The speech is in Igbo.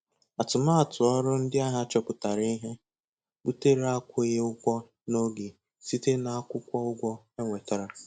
Atụmatụ ọrụ ndị ahịa chọpụtara ihe butere akwụghị ụgwọ n'oge site N'Akwụkwọ ụgwọ e wetara.